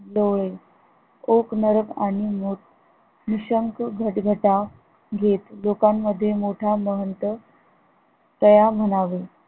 डोळे ओक नरक आणि मोठ निःशंक घटघटा घेत लोकांमध्ये मोठा महंत तया म्हणावे